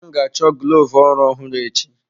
M ga-achọ glovu ọrụ ọhụrụ echi.